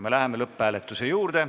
Me läheme lõpphääletuse juurde.